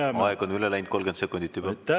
Härra Valge, aeg on üle läinud 30 sekundit juba!